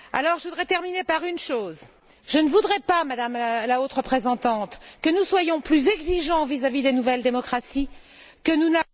Je voudrais terminer par une chose je ne voudrais pas, Madame la Haute représentante, que nous soyons plus exigeants vis à vis des nouvelles démocraties que nous ne